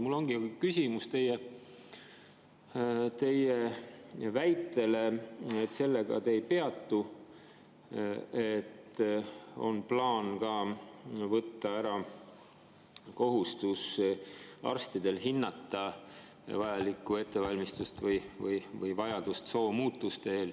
Mul ongi küsimus teie väite kohta, et selle juures te ei peatu, et on plaan ära ka arstide kohustus soo muutmise eel hinnata ettevalmistust või vajadust.